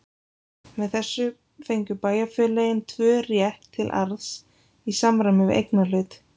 Með þessu fengu bæjarfélögin tvö rétt til arðs í samræmi við eignarhlut.